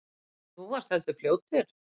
Þú varst heldur fljótur.